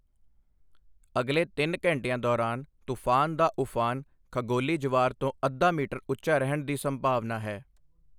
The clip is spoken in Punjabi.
ਅਗਲੇ ਤਿੰਨ ਘੰਟਿਆਂ ਦੌਰਾਨ ਤੂਫ਼ਾਨ ਦਾ ਊਫਾਨ ਖਗੋਲੀ ਜਵਾਰ ਤੋਂ ਅੱਧਾ ਮੀਟਰ ਉੱਚਾ ਰਹਿਣ ਦੀ ਸੰਭਾਵਨਾ ਹੈ।